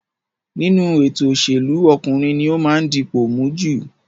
Nínú ètò òṣèlú, ọkùnrin ní ó máa ń dipò mú jù